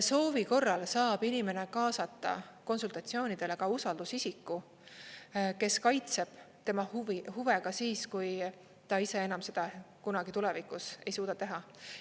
Soovi korral saab inimene kaasata konsultatsioonidele ka usaldusisiku, kes kaitseb tema huve ka siis, kui ta ise enam seda kunagi tulevikus ei suuda teha.